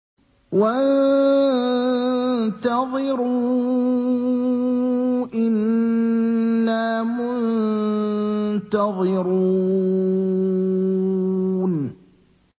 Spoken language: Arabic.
وَانتَظِرُوا إِنَّا مُنتَظِرُونَ